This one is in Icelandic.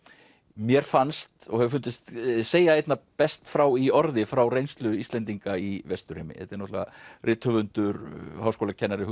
mér fannst og hefur fundist segja einna best frá í orði frá reynslu Íslendinga í Vesturheimi þetta er náttúrulega rithöfundur háskólakennari